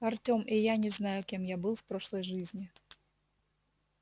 артем и я не знаю кем я был в прошлой жизни